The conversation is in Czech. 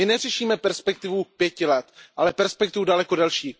My neřešíme perspektivu pěti let, ale perspektivu daleko delší.